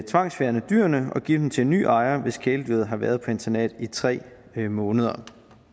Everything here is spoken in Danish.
tvangsfjerne dyret og give det til en ny ejer hvis kæledyret har været på internat i tre måneder